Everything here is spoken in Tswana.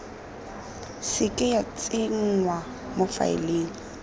seke ya tsenngwa mo faeleng